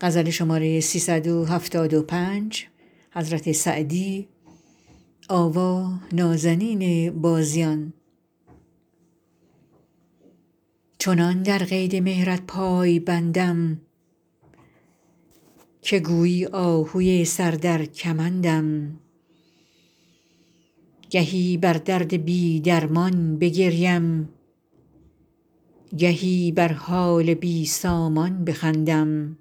چنان در قید مهرت پای بندم که گویی آهوی سر در کمندم گهی بر درد بی درمان بگریم گهی بر حال بی سامان بخندم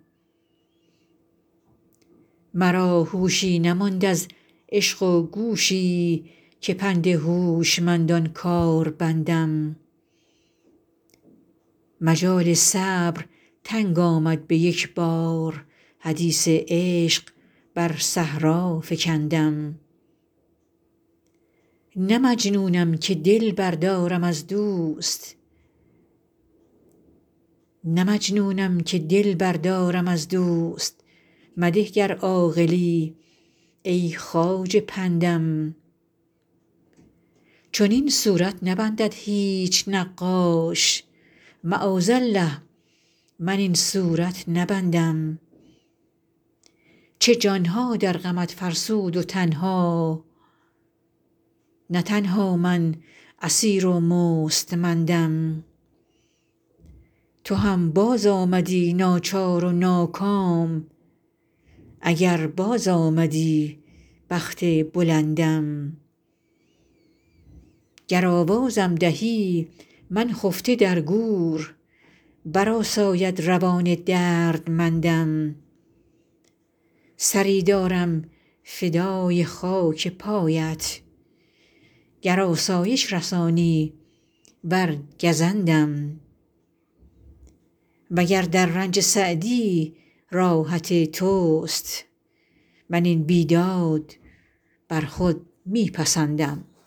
مرا هوشی نماند از عشق و گوشی که پند هوشمندان کار بندم مجال صبر تنگ آمد به یک بار حدیث عشق بر صحرا فکندم نه مجنونم که دل بردارم از دوست مده گر عاقلی ای خواجه پندم چنین صورت نبندد هیچ نقاش معاذالله من این صورت نبندم چه جان ها در غمت فرسود و تن ها نه تنها من اسیر و مستمندم تو هم بازآمدی ناچار و ناکام اگر بازآمدی بخت بلندم گر آوازم دهی من خفته در گور برآساید روان دردمندم سری دارم فدای خاک پایت گر آسایش رسانی ور گزندم و گر در رنج سعدی راحت توست من این بیداد بر خود می پسندم